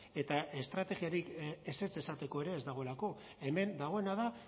eta estrategiarik ezetz esateko ere ez dagoelako hemen dagoena da